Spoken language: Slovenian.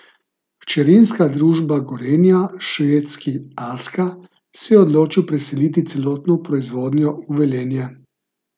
Hčerinska družba Gorenja, švedski Aska, se je odločil preseliti celotno proizvodnjo v Velenje.